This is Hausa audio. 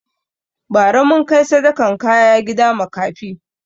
Bara mun kai sadakan kaya gida makafi